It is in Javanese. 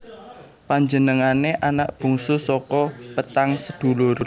Panjenengané anak bungsu saka petang sedulur